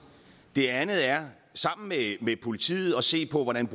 det andet er sammen med med politiet at se på hvordan